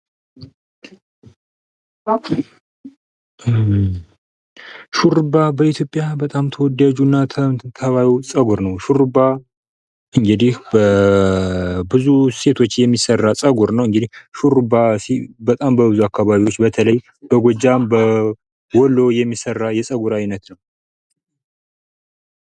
ሹርባ በኢትዮጵያ በጣም ተወዳጁና ታዋቂው ፀጉር ነው፤ ሹርባ እንግዲህ በብዙ ሴቶች የሚሠራ ፀጉር ነው ሹሩባ በወሎ የሚሠራ የፀጉር አይነት ነው፡፡